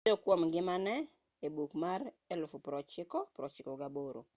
nowuoyo kuom ngimane e buk mar 1998